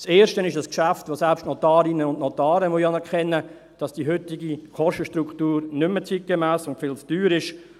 Das Erste ist ein Geschäft, bei dem selbst Notarinnen und Notare anerkennen müssen, dass die heutige Kostenstruktur nicht mehr zeitgemäss und viel zu teuer ist.